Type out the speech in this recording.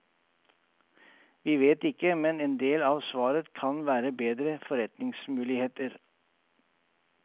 Vi vet ikke, men en del av svaret kan være bedre forretningsmuligheter.